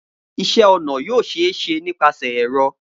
Iṣẹ-ọna yoo ṣee ṣe nipasẹ ẹrọ